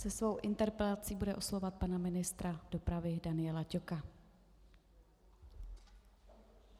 Se svou interpelací bude oslovovat pana ministra dopravy Daniela Ťoka.